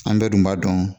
An bɛɛ dun b'a dɔn